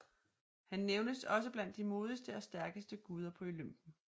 Han nævnes også blandt de modigste og stærkeste guder på Olympen